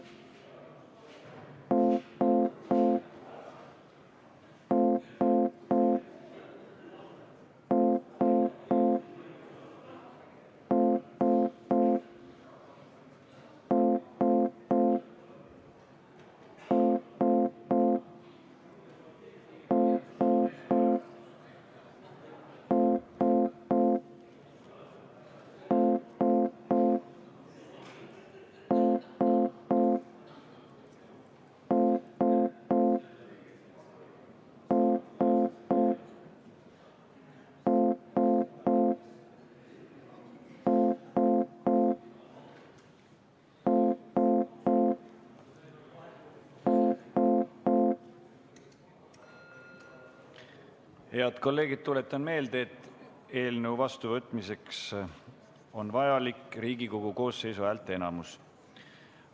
Head kolleegid, tuletan meelde, et eelnõu vastuvõtmiseks on vajalik Riigikogu koosseisu häälteenamus.